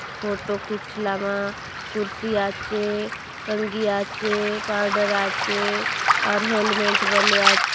फोटो खींच लामा कुर्सी आछे कंगी आचे पाउडर आचे और हैलमेट बलिया आचे --